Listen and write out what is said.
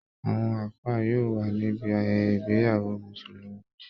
Àwọn àfáà yóò wà níbi ayẹyẹ ìgbéyàwó mùsulùmí